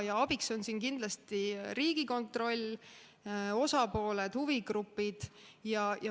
Ja abiks on siin kindlasti Riigikontroll, osapooled, huvigrupid.